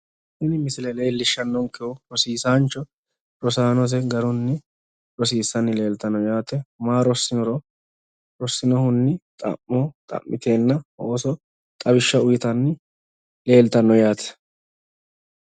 Tini misile leellishshannonkehu rosiisaancho rosaanose garunni rosiissanni leeltanno yaate. maa rossinoro, rossinohunni xa'mo xa'miteenna ooso xawishsha uuyitanni leeltanno yaate.